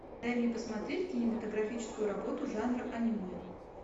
дай мне посмотреть кинематографическую работу жанра аниме